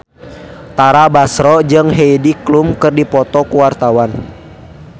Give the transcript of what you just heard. Tara Basro jeung Heidi Klum keur dipoto ku wartawan